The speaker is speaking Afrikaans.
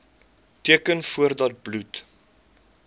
teken voordat bloed